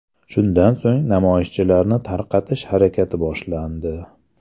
Shundan so‘ng, namoyishchilarni tarqatish harakati boshlandi.